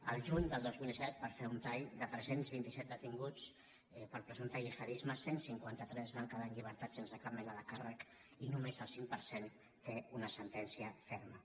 el juny del dos mil set per fer un tall de tres cents i vint set detinguts per presumpte gihadisme cent i cinquanta tres van quedar en llibertat sense cap mena de càrrec i només el cinc per cent té una sentència ferma